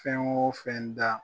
Fɛn o fɛn da.